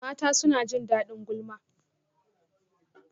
Mata suna jin daɗin gulma